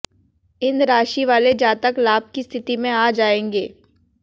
इन राशि वाले जातक लाभ की स्थिति में आ जाएंगे